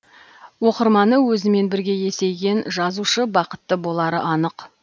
оқырманы өзімен бірге есейген жазушы бақытты болары анық